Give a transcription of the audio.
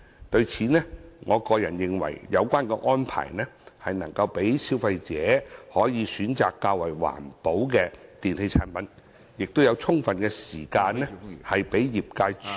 就此，我認為有關安排能讓消費者選擇較環保的電器產品，亦能提供充分時間讓業界處理有關事宜......